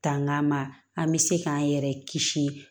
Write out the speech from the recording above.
Tang'a ma an bɛ se k'an yɛrɛ kisi